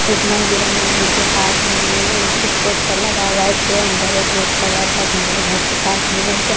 एक मंदिर है मंदिर के पास में कुछ पोस्टर लगा हुआ है इसके अंदर एक रेड कलर का घर है घर के पास में एक --